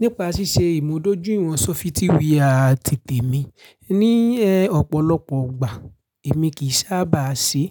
Nípa ṣíṣe ìmúdójúìwọ̀n sófitíwà àti tèmi, ní ọ̀pọ̀lọpọ̀ ìgbà èmi kì í sábà ṣe.